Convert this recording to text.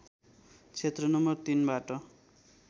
क्षेत्र नम्बर ३ बाट